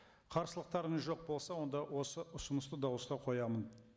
қарсылықтарыңыз жоқ болса онда осы ұсынысты дауысқа қоямын